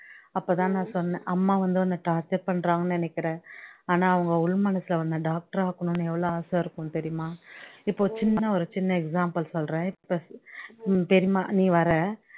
அப்போ தான் நான் சொன்னேன் அம்மா வந்து ரொம்ப torture பண்றாங்கனு நினைக்கிற ஆனா அவங்க உள்மனசுல உன்ன doctor ஆக்கணும்னு எவ்வளோ ஆசை இருக்கும்னு தெரியுமா இப்ப சின்ன ஒரு சின்ன example சொல்றேன் இப்ப பெரியம்மா நீ வர்ற